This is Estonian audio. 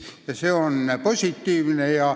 Ja see on positiivne.